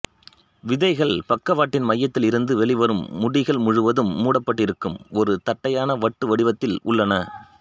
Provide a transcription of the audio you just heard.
விதைகள் பக்கவாட்டின் மையத்தில் இருந்து வெளிவரும் முடிகள் முழுவதும் மூடப்பட்டிருக்கும் ஒரு தட்டையான வட்டு வடிவத்தில் உள்ளன